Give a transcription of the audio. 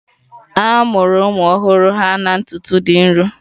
A mụrụ ụmụ ọhụrụ ha na ntutu dị nro